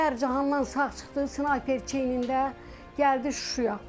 Kərkicahandan sağ çıxdı, snayper çiyinində, gəldi Şuşaya.